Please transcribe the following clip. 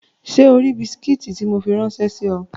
Ṣé o ri bisikí tí mo fi ráńṣẹ́ sí ọ?